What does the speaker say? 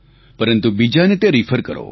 પરંતુ બીજાને તે રેફર કરો